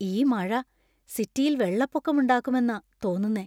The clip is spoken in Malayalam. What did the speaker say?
ഈ മഴ സിറ്റിയില്‍ വെള്ളപ്പൊക്കമുണ്ടാക്കുമെന്നാ തോന്നുന്നെ.